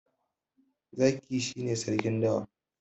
Zaki shi ne Sarkin dawa.